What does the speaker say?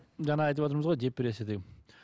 жаңа айтыватырмыз ғой депрессия деп